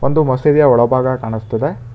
ಒಂದು ಮಸೀದಿಯ ಒಳಭಾಗ ಕಾಣಿಸ್ತಾ ಇದೆ.